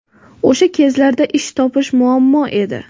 O‘sha kezlarda ish topish muammo edi.